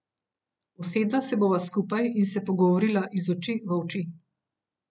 Usedla se bova skupaj in se pogovorila iz oči v oči.